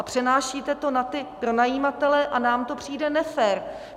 A přenášíte to na ty pronajímatele a nám to přijde nefér.